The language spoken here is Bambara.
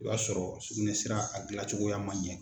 I b'a sɔrɔ sugunɛsira a gilancogoya man ɲɛ.